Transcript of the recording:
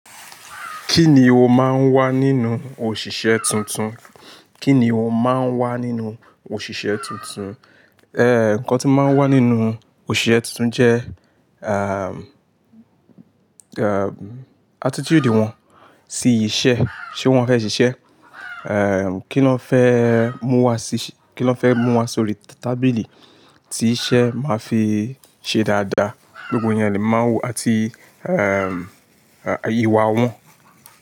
Kíni ó máa ń wà nínú òṣìṣẹ́ tuntun? Kíni ó máa ń wà nínú òṣìṣẹ́ tuntun? Eh, ǹkan tí ń máa ń wà nínú òṣìṣẹ́ tuntun jẹ́, um, um, attitude wọn sí iṣẹ́. Ṣé wọ́n fẹ́ ṣiṣẹ́? Eh, kí lọ́n fẹ́ mú wa sí-- kí lọ́n fẹ́ mú wa sórí tábìlì tí iṣẹ́ máa fi ṣe dáadáa. Gbogbo iyẹn ni máa ń wo àti, ìwà wọn.